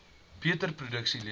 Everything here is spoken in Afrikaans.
beter produkte lewer